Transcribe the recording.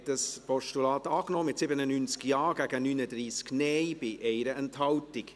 Sie haben dieses Postulat angenommen, mit 97 Ja- gegen 39 Nein-Stimmen, bei 1 Enthaltung.